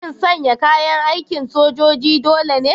Shin sanya kayan aikin sojoji dole ne?